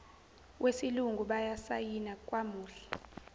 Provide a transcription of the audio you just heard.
wesilungu basayina kwamuhle